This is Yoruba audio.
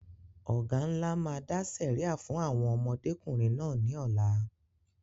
Ọ̀gá ńlá máa dá sẹ̀ríà fún àwọn ọmọdékùnrin náà ní ọ̀la